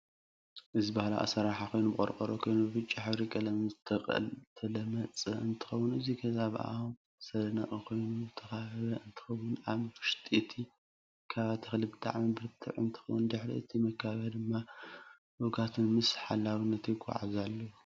እዚ ባህላዊ ኣስራረሓ ኮይኑ ብቆርሮ ኮይኑ ብብጫ ሕብሪ ቀለም ዝተለመፀ እንትከውን እቲ ገዛ ብኣእማን ዝተነደቀ ኮይኑ ዝተካበበ እንትከውን ኣብ ውሽጢ እቲ መከባብያ ተክለ ብጣዓሚ ብርትዕት እንትከውን ድሕሪ እቲ መከባብያ ድማ እዱጋት ምስ ሓላዊቶም ይጓዓዙ ኣለው።